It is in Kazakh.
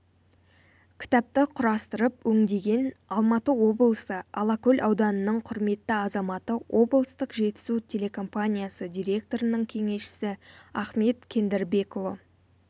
кітапты құрастырып өңдеген алматы облысы алакөл ауданының құрметті азаматы облыстық жетісу телекомпаниясы директорының кеңесшісі ахмет кендірбекұлы